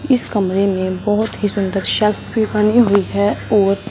इस कमरे में बहुत ही सुंदर शेल्फ भी बनी हुई है और--